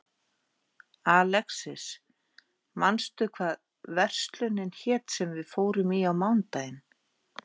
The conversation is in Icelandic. Alexis, manstu hvað verslunin hét sem við fórum í á mánudaginn?